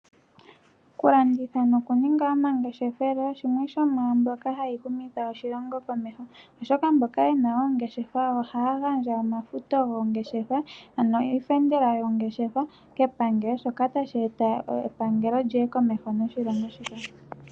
Okulanditha nokuninga omangeshefelo shimwe shomwaa mbyoka hayi humitha oshilongo komeho, oshoka mboka ye na oongeshefa ohaya gandja omafuto goongeshefa ano iifendela yoongeshefa kepangelo shoka tashi eta epangelo lyi ye komeho noshilongo shika.